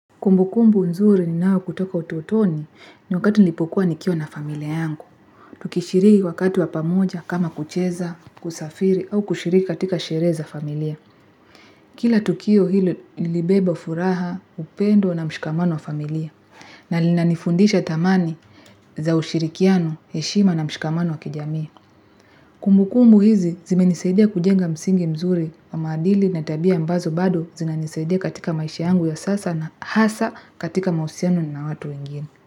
Kumbu kumbu nzuri ni nao kutoka utotoni ni wakati nilipokuwa nikio na familia yangu. Tukishiriki wakati wapamoja kama kucheza, kusafiri au kushiriki katika shereza familia. Kila tukio hilo libebo furaha, upendo na mshikamano wa familia. Na lina nifundisha tamani za ushirikiano, heshima na mshikamano wa kijami. Kumbu kumbu hizi zimenisaidia kujenga msingi mzuri wa madili na tabia mbazo bado zina nisaidia katika maishi yangu ya sasa na hasa katika mausiano na watu ingini.